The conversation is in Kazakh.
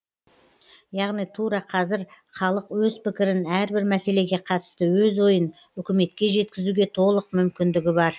яғни тура қазір халық өз пікірін әрбір мәселеге қатысты өз ойын үкіметке жеткізуге толық мүмкіндігі бар